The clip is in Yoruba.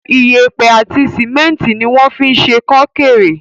Iyẹ̀pẹ̀ àti sìmẹ́ntì ni wọ́n fín ṣe kó kéré.